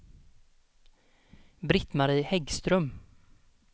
Britt-Marie Häggström